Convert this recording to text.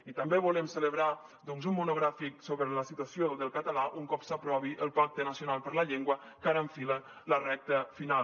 i també volem celebrar doncs un monogràfic sobre la situació del català un cop s’aprovi el pacte nacional per a la llengua que ara enfila la recta final